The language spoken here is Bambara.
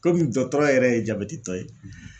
Komi dɔtɔrɔ yɛrɛ ye jabɛti tɔ ye